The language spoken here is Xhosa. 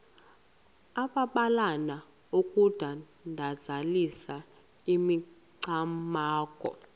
amabalana okudandalazisa imicamango